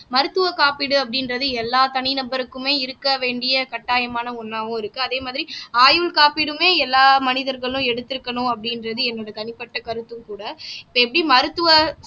மருத்துவ காப்பீடு அப்படின்றது எல்லா தனி நபருக்குமே இருக்க வேண்டிய கட்டாயமான ஒண்ணாவும் இருக்கு அதே மாதிரி ஆயுள் காப்பீடுமே எல்லா மனிதர்களும் எடுத்திருக்கணும் அப்படின்றது என்னோட தனிப்பட்ட கருத்தும் கூட இப்போ எப்படி மருத்துவ